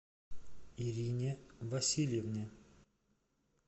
ирине васильевне